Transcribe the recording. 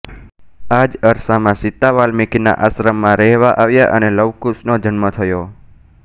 આ જ અરસામાં સીતા વાલ્મિકીના આશ્રમમાં રહેવા આવ્યા અને લવકુશનો જન્મ થયો